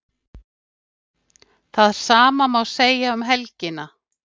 Það sama má segja um helgina